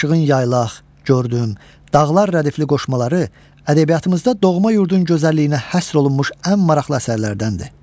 Aşığın Yaylaq, Gördüm, Dağlar rədifli qoşmaları ədəbiyyatımızda doğma yurdun gözəlliyinə həsr olunmuş ən maraqlı əsərlərdəndir.